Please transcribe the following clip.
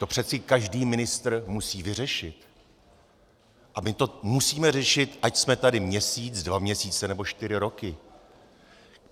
To přece každý ministr musí vyřešit a my to musíme řešit, ať jsme tady měsíc, dva měsíce, anebo čtyři roky.